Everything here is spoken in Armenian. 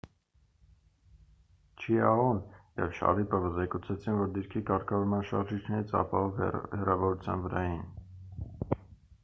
չիաոն և շարիպովը զեկուցեցին որ դիրքի կարգավորման շարժիչներից ապահով հեռավորության վրա էին